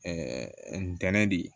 ntɛnɛn di